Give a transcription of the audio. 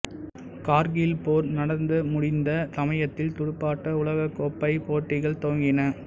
கார்கில் போர் நடந்த முடிந்த சமயத்தில் துடுப்பாட்ட உலகக் கோப்பைப் போட்டிகள் துவங்கின